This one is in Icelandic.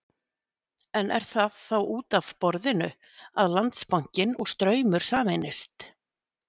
En er þá út af borðinu að Landsbankinn og Straumur sameinist?